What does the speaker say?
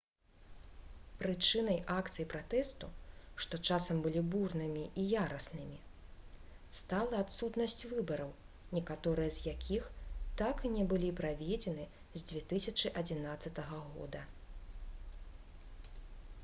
прычынай акцый пратэсту што часам былі бурнымі і яраснымі стала адсутнасць выбараў некаторыя з якіх так і не былі праведзены з 2011 г